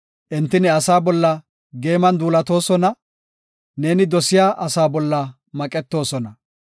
Enti ne asaa bolla geeman duulatoosona; neeni dosiya asaa bolla maqetoosona.